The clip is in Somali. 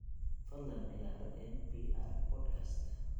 fadlan ciyaar n.p.r podcast